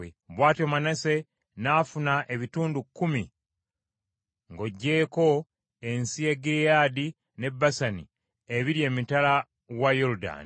Bw’atyo Manase n’afuna ebitundu kkumi ng’oggyeko ensi ya Gireyaadi ne Basani ebiri emitala wa Yoludaani,